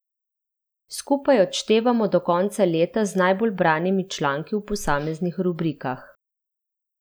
Skupaj odštevamo do konca leta z najbolj branimi članki v posameznih rubrikah.